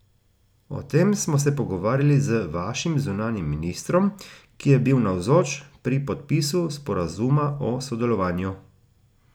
O tem smo se pogovarjali z vašim zunanjim ministrom, ki je bil navzoč pri podpisu sporazuma o sodelovanju.